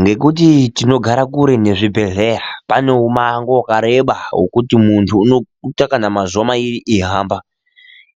Ngekuti tinogara kure nezvibhehleya pane umwango wakareba wekuti muntu unoita kana mazuwa mairi eihamba,